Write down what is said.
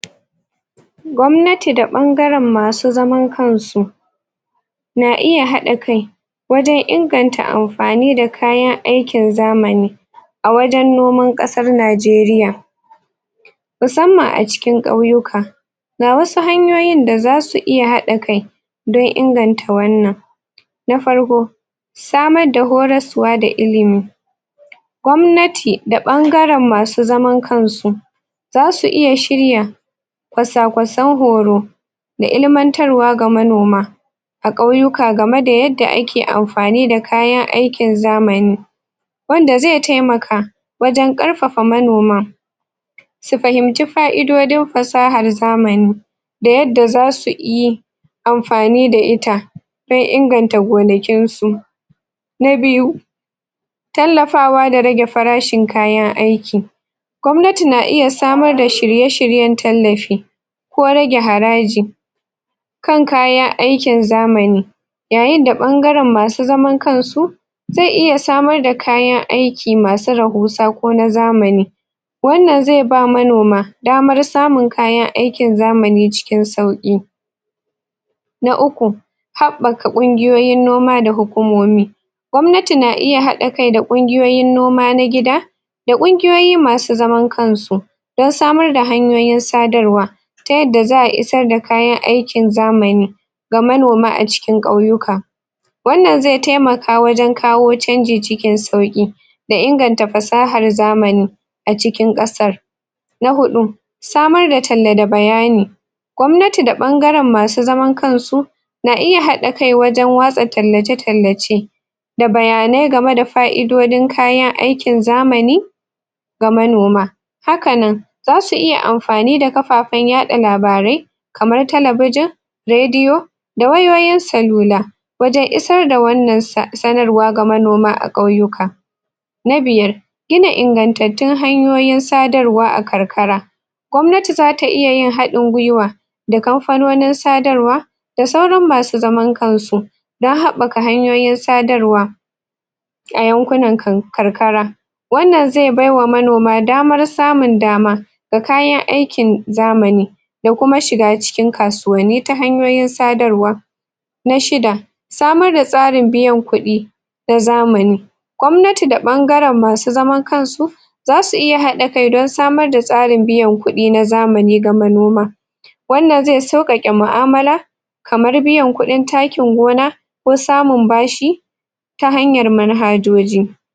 Gwamnati da bangaren ma su zaman kan su na iya hada kai wajen inganta amfani da kayan aikin zamani a wajen nomar kasar Najeriya musamman a cikin kauyuka. Ga wasu hanyoyin da zasu iya hada kai don inganta wannan na farko samar da horosuwa da ilimi Gwamnati da bangaren ma su zaman kan su za su iya shirya kwasakwasan horo da ilimantarwa ga manoma a kauyuka ga me da a ke amfani da kayan aikin zamani wanda zai taimaka wajen karfafa manoma su fahimci faidodin fasahar zamani da yadda za su yi amfani da ita wurin inganta gonakin su, na biyu tallafawa da rage farashin kayan aiki Gwamnati na iya samar da shirye-shiryen tallafi ko rage haraji kan kayan aikin zamani ya yin da bangarin ma su zaman kan su zai iya samar da kayan aiki ma su rahusa ko na zamani wannan zai ba manoma damar samun kayan aiki zamani cikin sauki. Na uku haɓaka ƙunguyoyin noma da hukumomi gwamnati na iya hada kai da ƙunguyoyin noma na gida dan ƙunguyoyi ma su zaman kan su dan samar da hanyoyin sadarwa ta yadda zaa isar da kayan aikin zamani ga manoma a cikin kauyuka wannan zai taimaka wajen kawo canji cikin sauki da inganta fasahar zamani a cikin kasar na hudu, samar da talle da bayani gwamnati da bangaren masu zaman kansu na iya hada kai wajen wasa tallace-tallace da bayane game da faidodin kayan aikin zamani ga manoma. Haka nan za su iya amfanin da kafafen ya ka labarai kamar talabijan, radio da wayoyin sallula wajen isar da wannan sa sanarwa ga manoma a kauyuka na biyar gina ingantatu hanyoyi sadarwa a kankara gwamnati za ta iya yin hadin gwiwa da kamfanonin sadarwa da sauran ma su zaman kan su don haɓaka hanyoyin sadarwa a yanƙunan kan karkara wannan zai baiwa manoma damar samun dama da kayan aikin zamani da kuma shiga cikin kasuwani ta hanyoyin sadarwa na shidda, samar da tsarin biyan kudi na zamani gwamnati da bangaren masu zaman kan su za su iya hada kai dan samar da tsarin biyan kudi na zamanj ga manoma. Wanna zai saukake muamala kamar biyar kudin takkin gona ko samun bashi ta hanyar manhajoji.